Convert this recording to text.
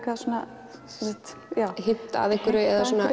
hint að einhverju